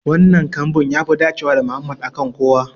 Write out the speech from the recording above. Wannan kambun yafi dacewa da Mohammed a kan kowa.